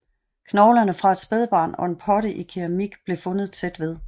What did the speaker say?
Knoglerne fra et spædbarn og en potte i keramik blev fundet tæt ved